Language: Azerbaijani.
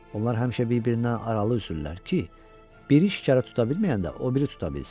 Onlar həmişə bir-birindən aralı üzürlər ki, biri şikarı tuta bilməyəndə o biri tuta bilsin.